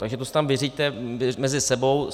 Takže to si tam vyřiďte mezi sebou.